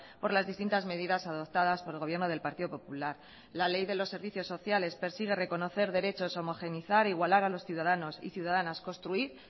por las distintas medidas adoptadas por el gobierno del partido popular la ley de los servicios sociales persigue reconocer derechos homogeneizar igualar a los ciudadanos y ciudadanas construir